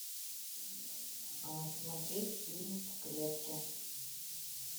смотреть фильм в клетке